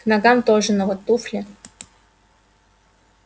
к ногам тоже но вот туфли